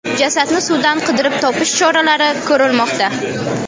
Jasadni suvdan qidirib topish choralari ko‘rilmoqda.